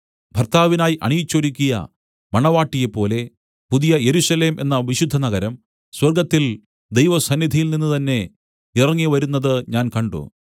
ഭർത്താവിനായി അണിയിച്ചൊരുക്കിയ മണവാട്ടിയെപ്പോലെ പുതിയ യെരൂശലേം എന്ന വിശുദ്ധനഗരം സ്വർഗ്ഗത്തിൽ ദൈവസന്നിധിയിൽനിന്ന് തന്നേ ഇറങ്ങി വരുന്നത് ഞാൻ കണ്ട്